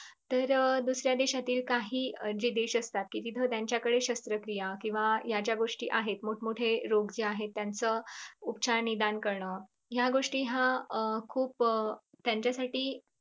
तर अं दुसऱ्या देशातील काही जे देश असतात कि तिथं त्यांच्याकडे शस्त्रक्रिया किंव्हा ह्या ज्या गोष्टी आहेत मोठमोठे रोग जे आहेत त्यांचं उपचार निदान करणं ह्या गोष्टी ह्या अं खूप त्यांच्यासाठी